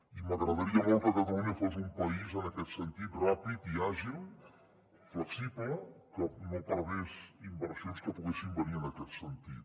i m’agradaria molt que catalunya fos un país en aquest sentit ràpid i àgil flexible que no perdés inversions que poguessin venir en aquest sentit